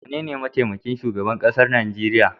Wanene mataimakin shugaban kasa Najeriya.